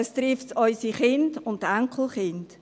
Es trifft unsere Kinder und Enkelkinder.